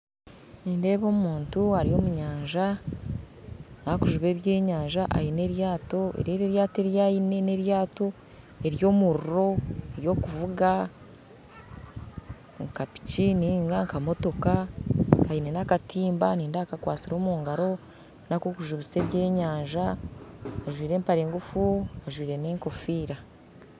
Nindeeba omuntu ari omu nyanja akujuba ebyenyanja aine eryato eri eri eryato eryaine n'eryato ery'omuriro ery'okuvuga nka piki ninga nka motoka aine nakatimba nindeeba akakwasire mu ngaro nakokujubisa ebyenyanja ajwaire empare engufu ajwaire nenkofiira